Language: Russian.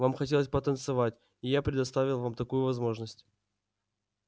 вам хотелось потанцевать и я предоставил вам такую возможность